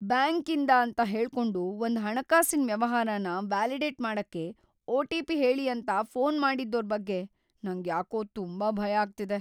ಬ್ಯಾಂಕಿಂದ ಅಂತ ಹೇಳ್ಕೊಂಡು ‌ಒಂದ್ ಹಣಕಾಸಿನ್ ವ್ಯವಹಾರನ ವ್ಯಾಲಿಡೇಟ್ ಮಾಡಕ್ಕೆ ಒ.ಟಿ.ಪಿ. ಹೇಳಿ ಅಂತ ಫೋನ್ ಮಾಡಿದ್ದೋರ್ ಬಗ್ಗೆ ‌ನಂಗ್ಯಾಕೋ ತುಂಬಾ ಭಯ ಆಗ್ತಿದೆ.